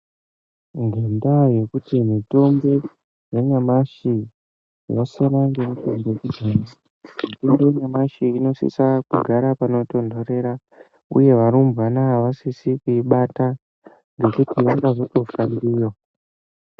Ngenda yekuti mitombo yanyamashi yasiyana nemitombo yakudhaya mitombo yanyamashi inosisa kugara panotonderera uye varumbwana avasisi kuibata ngekuti vangazofa ndiyo.